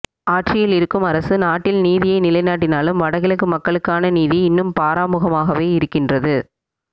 ஆட்சியில் இருக்கும் அரசு நாட்டில் நீதியை நிலைநாட்டினாலும் வடகிழக்கு மக்களுக்களுக்கான நீதி இன்னும் பாராமுகமாகவே இருக்கின்றது